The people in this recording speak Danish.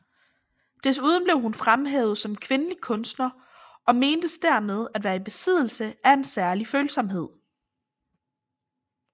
Desuden blev hun fremhævet som kvindelig kunstner og mentes dermed at være i besiddelse af en særlig følsomhed